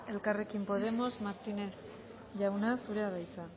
elkarrekin podemos martínez jauna zurea da hitza